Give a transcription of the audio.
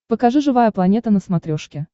покажи живая планета на смотрешке